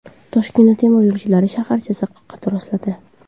Toshkentda temir yo‘lchilar shaharchasi qad rostladi.